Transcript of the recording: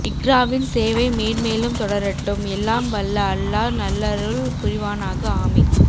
இக்ராவின் சேவை மேன்மேலும் தொடரட்டும் எல்லாம் வல்ல அல்லாஹ் நல்லருள் புரிவானாக ஆமீன்